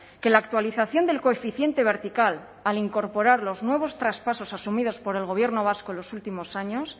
que la actualización del coeficiente vertical al incorporar los nuevos traspasos asumidos por el gobierno vasco en los últimos años